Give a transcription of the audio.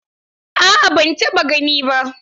A'a ban taɓa gani ba.